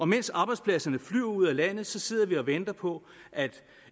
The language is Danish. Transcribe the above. mens arbejdspladserne flyver ud af landet sidder vi og venter på at